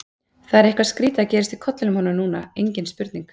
Það var eitthvað skrýtið að gerast í kollinum á honum núna, engin spurning.